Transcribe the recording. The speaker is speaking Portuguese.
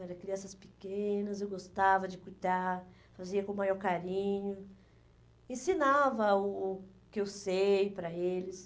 Eram crianças pequenas, eu gostava de cuidar, fazia com o maior carinho, ensinava o o que eu sei para eles.